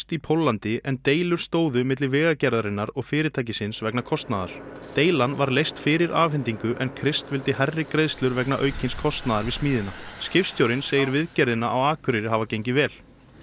í Póllandi en deilur stóðu milli Vegagerðarinnar og fyrirtækisins vegna kostnaðar deilan var leyst fyrir afhendingu en Crist vildi hærri greiðslur vegna aukins kostnaðar við smíðina skipstjórinn segir viðgerðina á Akureyri hafa gengið vel